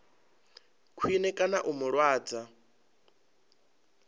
khwine kana u mu lwadza